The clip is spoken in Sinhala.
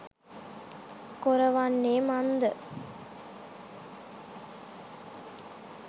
කොර වන්නේ මන්ද?